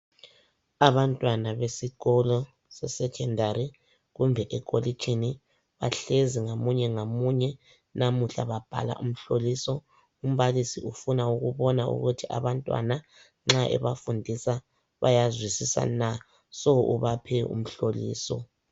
Abantwana besikolo sesekhondari kumbe ekolitshini bahlezi ngamunye ngamunye namuhla babhala umhloliso. Umbalisi ufuna ukubona ukuthi abantwana nxa ebafundisa bayazwisisa na, so ubaphe umhloliso.